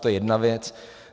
To je jedna věc.